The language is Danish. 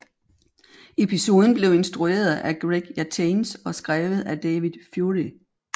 Episoden blev instrueret af Greg Yataines og skrevet af David Fury